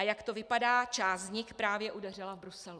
A jak to vypadá, část z nich právě udeřila v Bruselu.